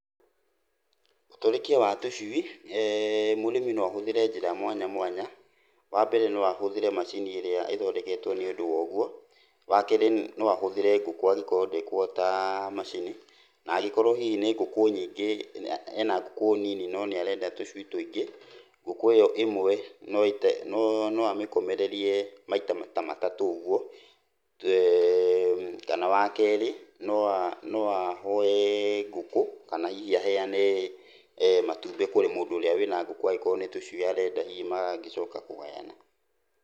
Ũtũrĩkia wa tũcui, mũrĩmi no ahũthĩre njĩra mwanya mwanya. Wambere noahũthĩre macini ĩrĩa ĩthondeketwo nĩ ũndũ wogwo. Wakerĩ no ahũthĩre ngũkũ angĩkoo ndekũhota macini, na angĩkorwo hihi nĩ ngũkũ nyingĩ, ena ngũkũ nini no nĩarenda tũcui tũingĩ, ngũkũ ĩyo ĩmwe no amĩkomererie maita ta matatũ ũgwo. Kana wakerĩ no a, no ahoe ngũkũ, kana hihi aheane matumbĩ kũrĩ mũndũ ũrĩa wĩna ngũkũ angĩkoo nĩ tũcui arenda hihi mangĩcoka kũgayana.